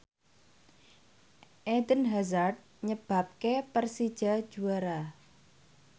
Eden Hazard nyebabke Persija juara